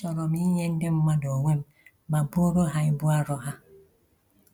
Achọrọ m inye ndị mmadụ onwe m ma buoro ha ibu arọ ha